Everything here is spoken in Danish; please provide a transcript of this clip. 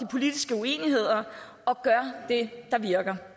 politiske uenigheder og gøre det der virker